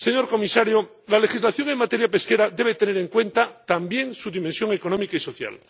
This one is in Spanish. Señor comisario, la legislación en materia pesquera debe tener en cuenta también su dimensión económica y social.